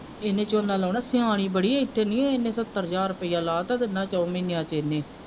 ਇਹਨੇ ਝੋਨਾ ਲਾਉਣਾ ਸਿਆਣੀ ਬੜੀ ਇਥੇ ਨੀ ਇਹਨੇ ਸਤਰ ਹਜ਼ਾਰ ਰੁਪਇਆ ਲਾ ਦਿੱਤਾ ਤਿੰਨਾਂ ਚੋਹਾਂ ਮਹੀਨਿਆਂ ਚ ਇਹਨੇ।